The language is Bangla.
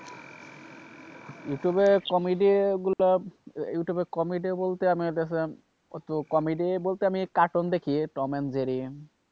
ইউটিউব এর comedy গুলো, ইউটিউব এর comedy বলতে আমি দেখেছি comedy বলতে আমি কার্টুন দেখি tom and jerry,